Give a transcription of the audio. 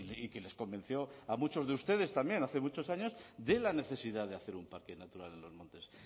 y que les convenció a muchos de ustedes también hace muchos años de la necesidad de hacer un parque natural en los montes